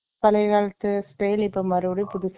பழைய காலத்து style இப்ப மறுபடியும் புதுசா